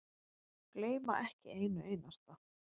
Gleyma ekki einu einasta.